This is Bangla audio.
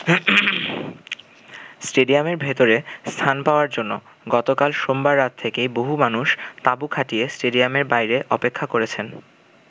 স্টেডিয়ামের ভেতরে স্থান পাওয়ার জন্য গতকাল সোমবার রাত থেকেই বহু মানুষ তাঁবু খাটিয়ে স্টেডিয়ামের বাইরে অপেক্ষা করেছেন।